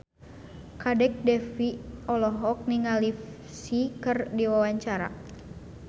Kadek Devi olohok ningali Psy keur diwawancara